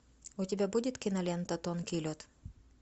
у тебя будет кинолента тонкий лед